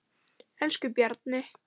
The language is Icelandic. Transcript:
Elsku Bjarni.